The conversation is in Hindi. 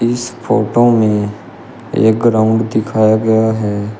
इस फोटो में एक ग्राउंड दिखाया गया है।